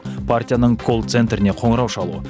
партияның кол центріне қоңырау шалу